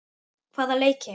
Hvaða leiki?